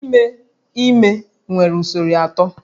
Ime ime nwere usoro atọ